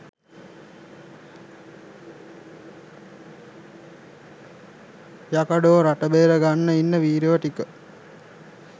යකඩෝ රට බේර ගන්න ඉන්න වීරයෝ ටික